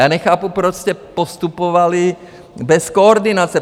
Já nechápu, proč jste postupovali bez koordinace.